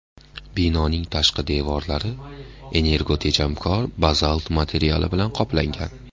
Binoning tashqi devorlari energotejamkor bazalt materiali bilan qoplangan.